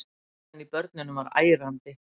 Hávaðinn í börnunum var ærandi.